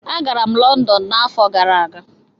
Agara m Lọndọn n'afọ gara aga